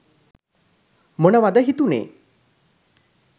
මොනවද හිතුණේ?